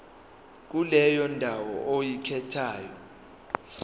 kuleyo ndawo oyikhethayo